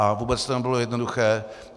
A vůbec to nebylo jednoduché.